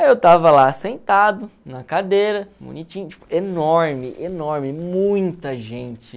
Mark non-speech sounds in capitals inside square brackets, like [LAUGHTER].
Aí eu estava lá sentado, na cadeira, [UNINTELLIGIBLE] enorme, enorme, muita gente.